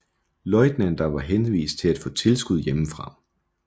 Løjtnanter var henvist til at få tilskud hjemmefra